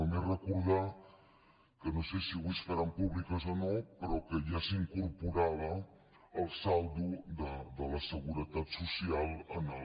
només recordar que no sé si avui es faran públiques o no però que ja s’incorporava el saldo de la seguretat social en el